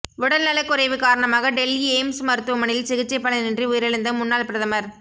உடல் நலக் குறைவு காரணமாக டெல்லி எய்ம்ஸ் மருத்துவமனையில் சிகிச்சை பலனின்றி உயிரிழந்த முன்னாள் பிரதமர்